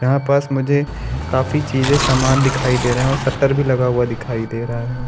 यहाँ पास मुहे काफी चीजे सामान दिखाई दे रहे है और सत्तर भी लगा हुआ दिखाई दे रहा है।